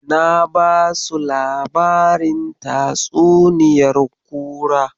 Na basu labarin tatsuniyar kura.